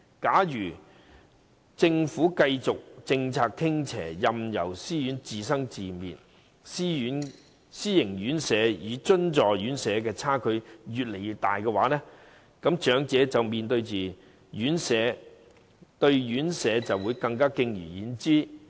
假如政府的政策繼續傾斜，任由私營院舍自生自滅，私營院舍與津助院舍的差距只會越來越大，而長者對私營院舍更會敬而遠之。